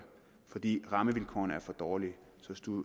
fordi rammevilkårene er for dårlige